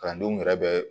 Kalandenw yɛrɛ bɛ